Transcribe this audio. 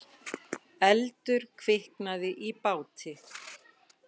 Eldur kviknaði í báti